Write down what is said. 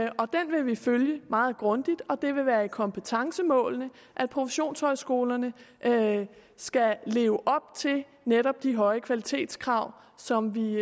og den vil vi følge meget grundigt og det vil være i kompetencemålene at professionshøjskolerne skal leve op til netop de høje kvalitetskrav som vi